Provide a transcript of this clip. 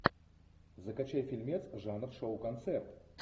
закачай фильмец жанр шоу концерт